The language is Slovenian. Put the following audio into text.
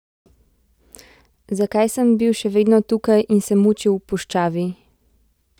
Zakaj sem bil še vedno tukaj in se mučil v puščavi?